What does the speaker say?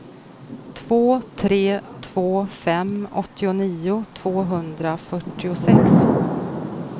två tre två fem åttionio tvåhundrafyrtiosex